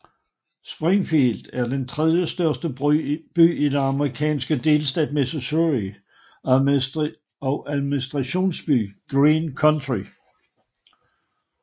Springfield er den tredjestørste by i den amerikanske delstat Missouri og administrationsby Greene County